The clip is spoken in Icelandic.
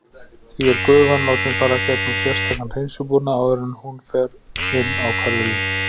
Því er gufan látin fara gegnum sérstakan hreinsibúnað áður en hún fer inn á hverfilinn.